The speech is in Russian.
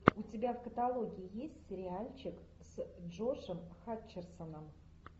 у тебя в каталоге есть сериальчик с джошем хатчерсоном